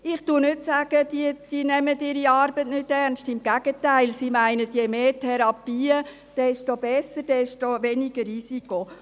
Ich sage nicht, diese nähmen ihre Arbeit nicht ernst, im Gegenteil: Diese meinen, je mehr Therapien, desto besser, desto weniger Risiko.